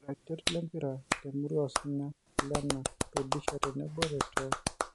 Iratiot lempira temurua osinya; Kilena, Rudisha tenebo Letoo